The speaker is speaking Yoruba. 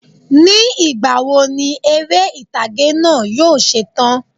Ní ìgbàwo ni eré ìtàgé náà yóò se tán?